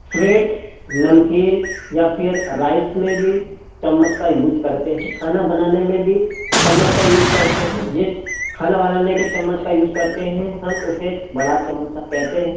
Freight नमकीन या फिर राइस में भी चम्मच का यूज करते हैं खाना बनाने में भी चम्मच का यूज करते हैं जिस खाना बनाने के चम्मच का यूज करते हैं हम उसे बड़ा चमचा कहते हैं।